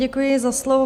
Děkuji za slovo.